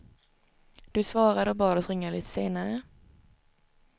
Du svarade och bad oss ringa lite senare.